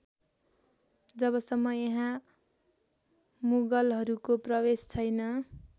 जबसम्म यहाँ मुगलहरूको प्रवेश छैन